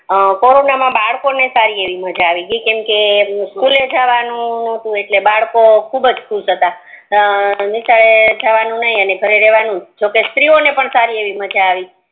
અ corona મા બરકો ને સારી એવી મજા આવી ગઈ કે સચોળે જવાનું નટુ એટલે બરકો ખુબજ ખુસ હતા અને નિસરે જવાનું ને ને ઘરે રેવાનું જોકે સ્ત્રી ઓને પણ સારી એવી મજા આવી